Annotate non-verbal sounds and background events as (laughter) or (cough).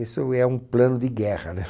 Isso é um plano de guerra, né. (laughs)